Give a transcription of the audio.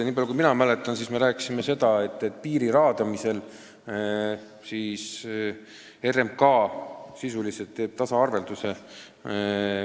Niipalju kui mina mäletan, me rääkisime seda, et piiriala raadamisel RMK sisuliselt teeb tasaarvelduse.